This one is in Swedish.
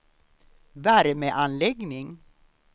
värmeanläggning